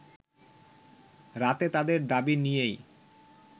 রাতে তাদের দাবি নিয়েই